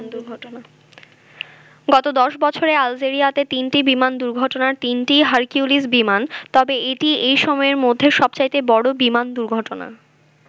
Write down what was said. গত দশ বছরে আলজেরিয়াতে তিনটি বিমান দুর্ঘটনার তিনটিই হারকিউলিস বিমান তবে এটিই এই সময়ের মধ্যে সবচাইতে বড় বিমান দুর্ঘটনা।